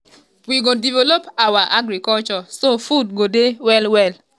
"we go develop our um agriculture so food go dey well-well.